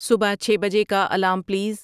صبح چھ بجے کا الارم پلیز